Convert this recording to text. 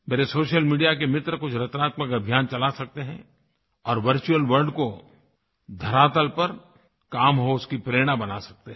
मेरे social media के मित्र कुछ रचनात्मक अभियान चला सकते हैं और वर्चुअल वर्ल्ड का धरातल पर काम हो उसकी प्रेरणा बना सकते हैं